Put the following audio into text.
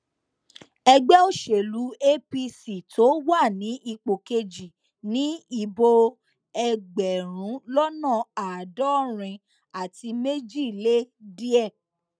ẹgbẹ òṣèlú apc tó wà ní ipò kejì ni ìbò ẹgbẹrún lọnà àádọrin àti méjì lé díẹ